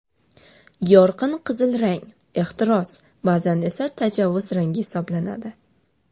Yorqin qizil rang ehtiros, ba’zan esa tajovuz rangi hisoblanadi.